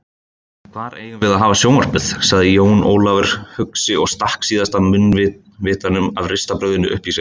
Hvar eigum við þá að hafa sjónvarpið? sagði Jón Ólafur hugsi og stakk síðasta munnvitanum af ristabrauðinu upp í sig.